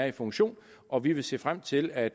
i funktion og vi vil se frem til at